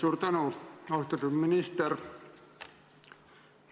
Austatud minister!